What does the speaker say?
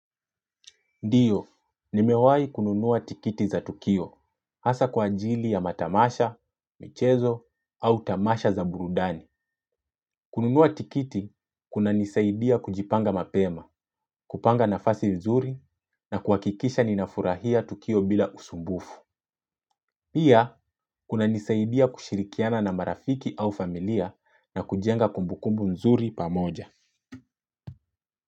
Ndiyo, nimewahi kununua tikiti za tukio, hasa kwa ajili ya matamasha, michezo, au tamasha za burudani. Kununua tikiti, kunanisaidia kujipanga mapema, kupanga nafasi nzuri na kuhakikisha ninafurahia tukio bila usumbufu. Pia, kunanisaidia kushirikiana na marafiki au familia na kujenga kumbukumbu nzuri pamoja.